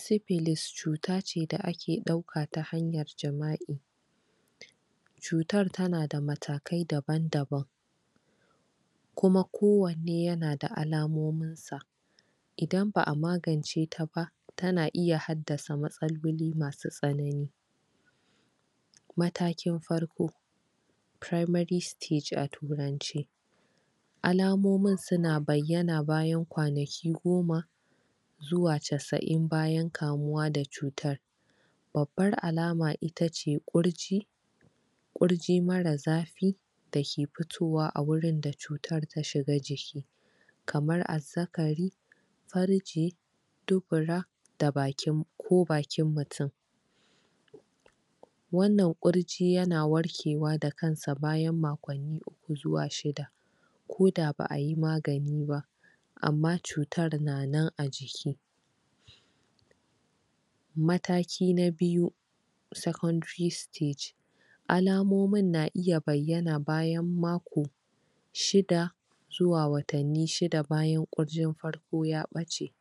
Cipilus cuta ce da ake ɗauka ta hanyar jima'i, cutar ta na da matakai daban-daban, kuma ko wane ya na da alamominsa, idan ba'a magance ta ba ta na iya haddasa matsaloli ma su tsanani, matakin farko: Primary stage a turance Alamomin su na bayyana bayan kwanaki goma zuwa cas'in bayan kamuwa da cutar babbar alama itace ƙurji ƙurji mara zafi da ke fitowa a wurin da cutar ta shiga jiki kamar azzakari, farji, dubura da bakin...ko bakin mutum, wannan ƙurji ya na warkewa da kansa bayan makwanni uku zuwa shida, ko da ba'ayi magani ba amma cutar na nan a jiki. Mataki na biyu: Secondary stage Alamomin na iya bayyana bayan mako shida zuwa watanni shida bayan ƙurjin farko ya ɓace,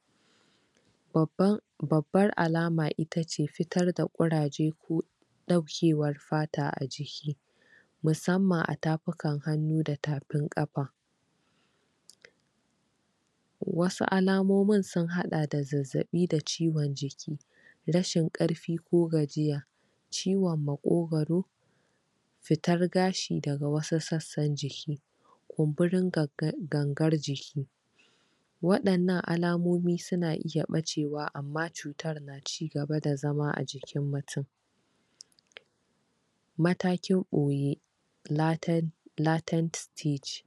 babban...babbar alama ita ce fitar da ƙuraje bayan ko ɗaukewar fata a jiki, musamman a tafukan hannu da tafin ƙafa, wasu alamomin sun haɗa da zazzaɓi da ciwon jiki rashin ƙarfi ko gajiya, ciwon maƙogoro, fitar gashi daga wasu sassan jiki, kumburin gangar jiki, waɗannan alamomi su na iya ɓacewa amma cutar na waɗannan alamomi su na iya ɓacewa amma cutar na cigaba da zama a jikin mutum, cigaba da matakin ɓoye: Latent stage,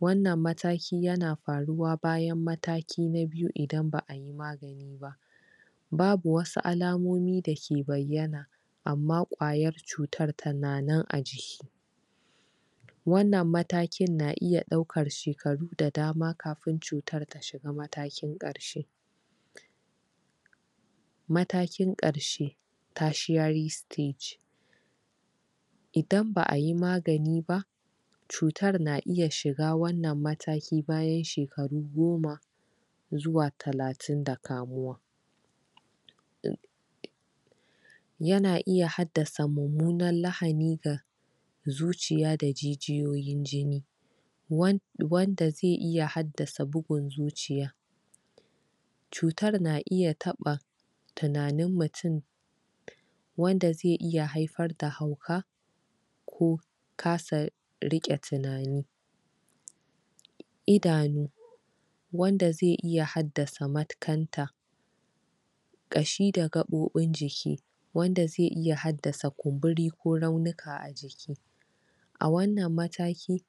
Wannan mataki ya na faruwa bayan mataki na biyu idan ba'ayi magani ba, babu wasu alamomi da ke bayyana amma ƙwayar cutar ta na nan a jiki, wannan matakin na iya ɗaukar shekaru da dama kafin cutar ta shiga mataki na ƙarshe. Matakin ƙarshe Tertiary Stage Idan ba'ayi magani ba cutar na iya shiga wannan mataki bayan shekaru goma zuwa talatin da kamuwa, ya na iya haddasa mummunan lahani ga zuciya da jijiyoyin jini, wanda zai iya haddasa bugun zuciya, cutar na iya taɓa tunanin mutum wanda zai iya haifar da hauka ko kasa riƙe tunani, idanu wanda zai iya haddasa makanta, ƙashi da gaɓoɓin jiki wanda zai iya haddasa kumburi ko raunuka a jiki a wannan mataki.